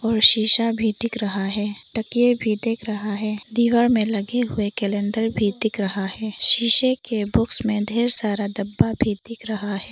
शीशा भी दिख रहा है ताकिया भी देख रहा है दीवार में लगे हुए कैलेंडर भी दिख रहा है शीशे के बॉक्स में ढेर सारा डब्बा भी दिख रहा है।